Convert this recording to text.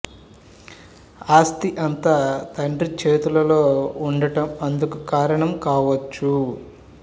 ఆస్తి అంతా తండ్రి చేతుల్లో ఉండడం అందుకు కారణం కావచ్చు